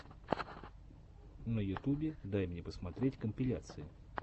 на ютубе дай мне посмотреть компиляции